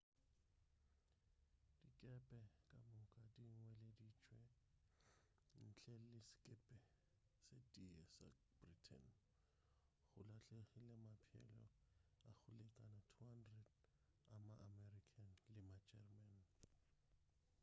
dikepe ka moka dinweleditšwe ntle le sekepe se tee sa britain go lahlegile maphelo a go lekana 200 a ma america le ma german